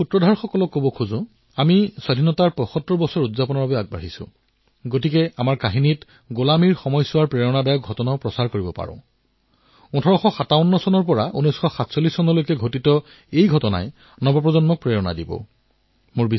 মই সাধু শুনোৱা লোকসকলক আহ্বান জনাম যে স্বাধীনতাৰ ৭৫ বৰ্ষ পালন কৰিবলৈ যোৱাৰ প্ৰাক্মুহূৰ্তত আমি আমাৰ সাধুত দাসত্বৰ সময়ছোৱাত যিমানবোৰ অনুপ্ৰেৰণাদায়ী ঘটনা আছিল সেয়া কাহিনী হিচাপে প্ৰচাৰ কৰিব নোৱাৰো নে বিশেষকৈ ১৮৫৭ৰ পৰা ১৯৪৭ চনলৈ যিমানবোৰ সৰুডাঙৰ ঘটনা আছিল সেইবোৰ আমি নতুন প্ৰজন্মক সাধুৰ দ্বাৰা পৰিচিত কৰিব পাৰো